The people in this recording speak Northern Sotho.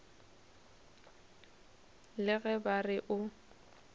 le ge ba re o